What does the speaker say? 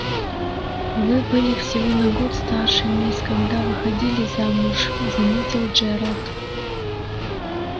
вы были всего на год старше мисс когда выходили замуж заметил джералд